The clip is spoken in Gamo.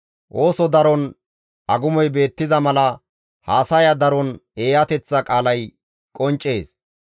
Ooso daron agumoy beettiza mala haasaya daron eeyateththa qaalay qonccees.